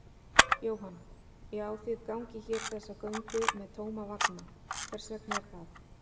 Jóhann: Já, þið gangið hér þessa göngu með tóma vagna, hvers vegna er það?